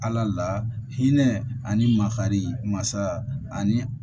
Ala la hinɛ ani makari masa ani